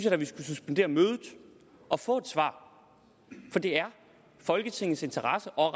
at vi skulle suspendere mødet og få et svar for det er i folketingets interesse og